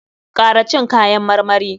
Kara cin kayan marmari!